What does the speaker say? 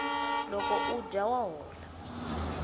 loko u dya wa hola